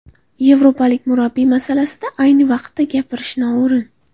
Yevropalik murabbiy masalasida ayni vaqtda gapirish noo‘rin.